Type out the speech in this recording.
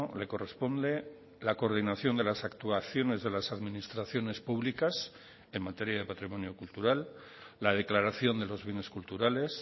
le corresponde la coordinación de las actuaciones de las administraciones públicas en materia de patrimonio cultural la declaración de los bienes culturales